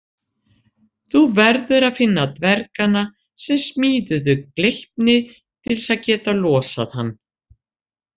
Þú verður að finna dvergana sem smíðuðu Gleipni til að geta losað hann